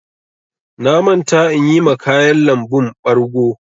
Na manta inyi ma ƙayan lambun ɓargo.